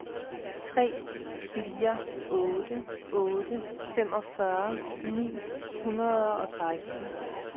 tre fire otte otte femogfyrre ni hundrede og seksten